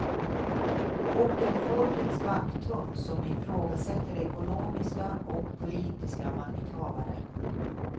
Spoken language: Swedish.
Och en folkets vakthund som ifrågasätter ekonomiska och politiska makthavare.